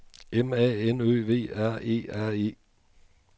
M A N Ø V R E R E